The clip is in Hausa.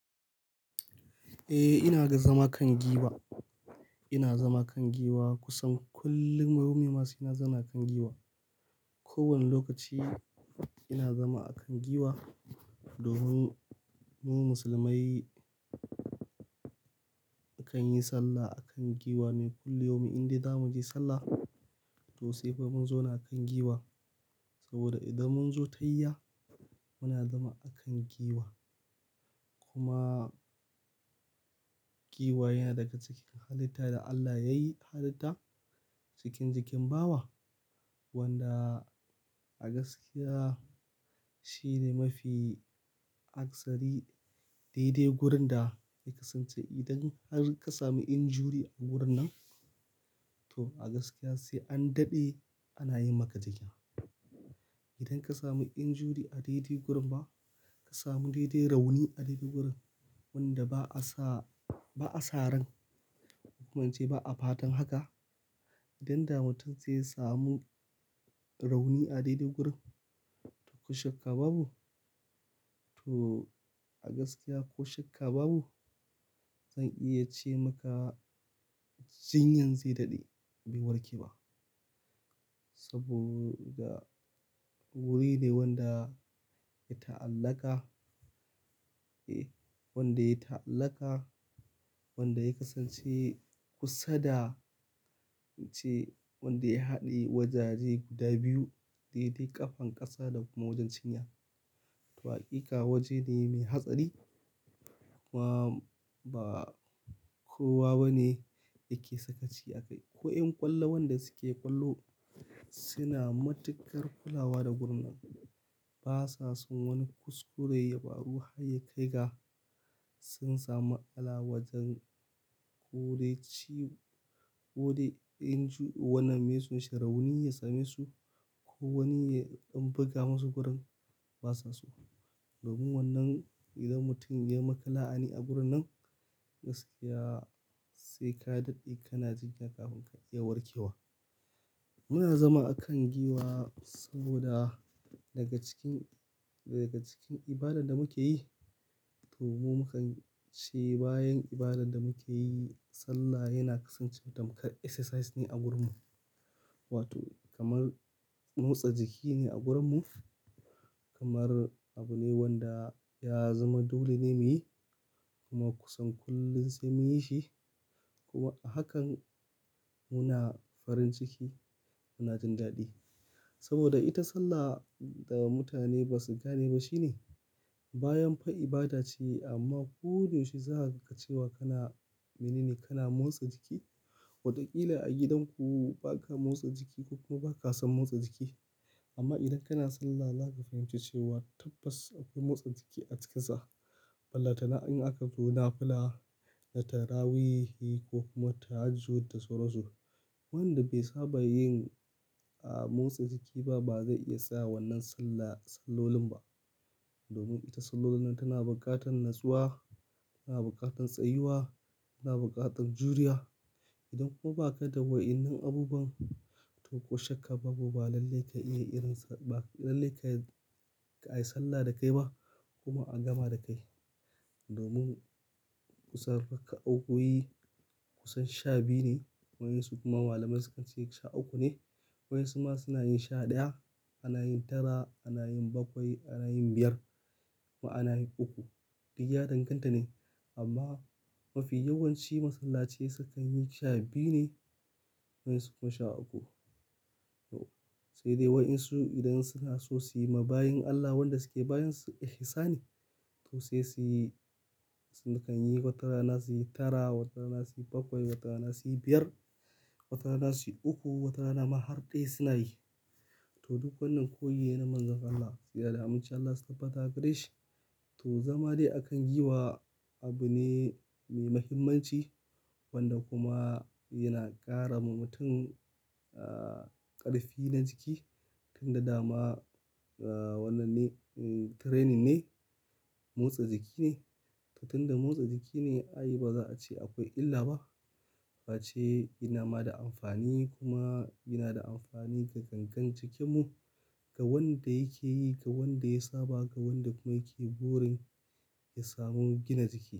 Eh ina ga zama kan giwa. Ina zama kan giwa kusan kullum rawyu ma se na zauna kan giwa. Ko wane lokaci ina zama a kan giwa. Domin mu musulmai akan yi sallah akan giwa mim. Kulli yaumin inda za mu je sallah, to sai fa mun zauna a kan giwa. Saboda idan mun zo tahiya, muna zama akan giwa. Kuma giwa yana daga cikin halitta da Allah yayi halitta cikin jikin bawa wanda a gaskiya shine mafi aksari daidai gurin da ya kasance. Idan har ka sami injury a wurin nan to a gaskiya sai an daɗe ana yin maka jinya. Idan ka sami injuri a daidai gurin ba ka samu daidai rauni a daidai wurin wanda ba a sa-- ba a saran ko kuma in ce ba a fatan haka. Idan da mutum zai samu rauni a daidai gurin to ko shakka babu to a gaskiya ko shakka babu zan iya ce maka jinyan zai daɗe bai warke ba. Saboda wuri ne wanda ya ta'allaka, eh wanda ya ta'allaka, wanda ya kasance kusa da in ce wanda ya haɗe wajaje guda biyu daidai ƙafan ƙasa da kuma wajen cinya. To haƙiƙa waje ne mai hatsari kuma ba kowa bane yake sakaci a kai. Ko yan ƙwallo wanda suke ƙwallo suna matuƙar kulawa da gurin nan. Ba sa son wani kuskure ya baru hayyikai ga sun samu ala'a wajen ko dai ci-- ko dai inju wannan mai sun shi rauni ya same su ko wani ya ɗan buga masu gurin ba sa so. Domin wannan idan mutum ya yi maka la'ana a gurin nan gaskiya sai ka daɗe kana jinya kafin ka iya warke wa. Muna zama a kan giwa saboda daga cikin daga cikin ibadar da muke yi to mu mukan ce bayan ibadar da muke yi sallah yana kasancewa tamkar exercise ne a gurin mu. Wato kamar motsa jiki ne a gurin mu. Kamar abu ne wanda ya zama dole ne mu yi, kuma kusan kullum sai mu yi shi. Kuma a hakan muna farin ciki muna jin daɗi. Saboda ita sallah da mutane ba su gane ba shine. Bayan fa ibada ce amma ko yaushe za ka ce wa kana mini ne kana motsa jiki watakila a gidan ku ba ka motsa jiki ko kuma ba ka san motsa jiki. Amma idan kana sallah za ka fahimci cewa tabbas akwai motsa jiki a ciki sa. Balentana in aka zo nafila da tarawahihi ko kuma tahajjud da sauran su. Wanda bai saba yin, ah, motsa jiki ba ba zai iya saya wannan sallah sallolin ba. Domin ita sallolin nan tana buƙatar natsuwa, tana buƙatar tsayuwa, tana buƙatar juriya. Idan kuma ba ka da wa'yanan abubuwan to ko shakka babu ba lallai ka iya irin sa ba lallai ka ka yi sallah da kai ba kuma a gama da kai. Domin kusan haka raka o oyi kusan sha biyu ne waye su kuma malamai sukan ce sha uku ne. Waye su ma suna yin sha ɗaya, ana yin tara, ana yin bakwai, ana yin biyar kuma ana yin uku duk ya danganta ne amma mafi yawanci masallachi sukan yi sha biyu ne wayen su kuma sha uku. To sai dai wayen su idan suna so su yi ma bayin Allah wanda suke bayin su ihsani to sai su yi, su sukan yi watarana su yi tara, watarana su yi bakwai, watarana su yi biyar, watarana su yi uku, watarana ma har ɗaya suna yi. To duk wannan koyi ne na manzan Allah tsira da amincin Allah su tabbata a gare shi. To zama dai a kan giwa abu ne mai muhimmanci wanda kuma yana ƙara ma mutum, ah, ƙarfi na jiki. Tun da dama, ah, wannan ne, um, training ne, motsa jiki ne. To tunda motsa jiki ne i baza a ce akwai illa ba. Fa ce yana ma da amfani kuma yana da amfani ga gangen jikinmu, ga wanda yake yi ga wanda ya saba ga wanda kuma yake burin ya samu gina jiki.